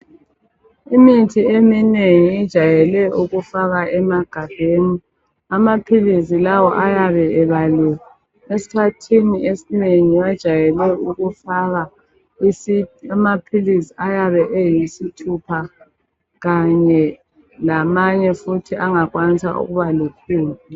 Imithi eminengi ijayele ukufakwa emagabheni amaphilisi lawa ayabe ebaliwe esikhathini esinengi bajayele ukufaka amaphilisi ayabe eyisithupha kanye lamanye futhi angakwanisa ukuba litshumi.